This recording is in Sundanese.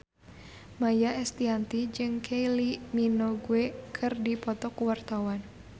Maia Estianty jeung Kylie Minogue keur dipoto ku wartawan